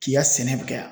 K'i ka sɛnɛ kɛ yan